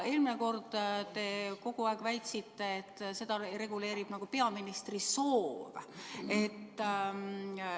Eelmine kord te kogu aeg väitsite, et seda reguleerib peaministri soov.